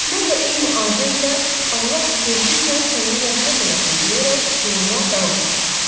Mən də eyni ahənglə Allah tezliklə sənə rəhmət eləsin deyərək yoluma davam elədim.